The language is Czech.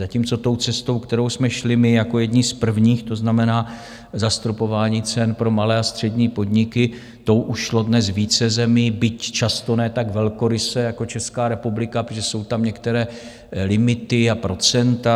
Zatímco tou cestou, kterou jsme šli my jako jedni z prvních, to znamená zastropování cen pro malé a střední podniky, tou už šlo dnes více zemí, byť často ne tak velkoryse jako Česká republika, protože jsou tam některé limity a procenta.